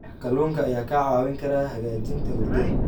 Kalluunka ayaa kaa caawin kara hagaajinta hurdada.